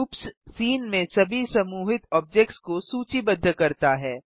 groups scene में सभी समूहीत ऑब्जेक्ट्स को सूचीबद्ध करता है